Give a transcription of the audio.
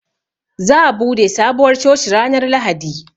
Zaa bude Sabuwar coci ranar Lahadi.